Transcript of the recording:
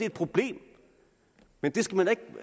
et problem men det skal man